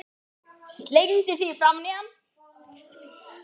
Slengdi því framan í hann.